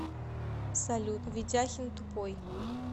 салют ведяхин тупой